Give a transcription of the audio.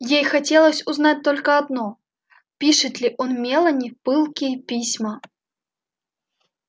ей хотелось узнать только одно пишет ли он мелани пылкие письма